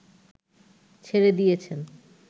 ছেড়ে দিয়েছেন